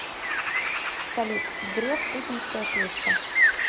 салют греф путинская шлюшка